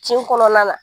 Tin kɔnɔna na